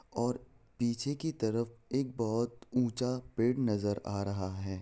और पीछे की तरफ एक बहुत ऊंचा पेड़ नजर आ रहा है।